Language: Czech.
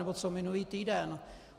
Anebo co minulý týden?